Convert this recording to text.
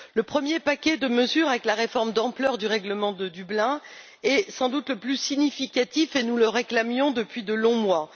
Le premier paquet de mesures avec la réforme d'ampleur du règlement de Dublin est sans doute le plus significatif, et nous le réclamions depuis de longs mois.